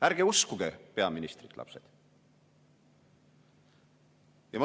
Ärge uskuge peaministrit, lapsed!